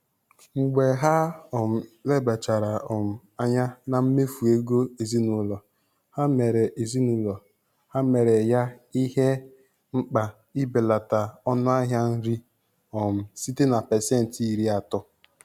Mgbe ha um lebachara um anya na mmefu ego ezinụlọ, ha mere ezinụlọ, ha mere ya ihe mkpa ibelata ọnụahịa nri um site na pasentị iri atọ.